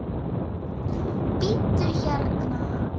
Bíddu hérna.